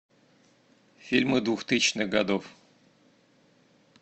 фильмы двухтысячных годов